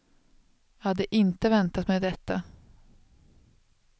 Jag hade inte väntat mig detta.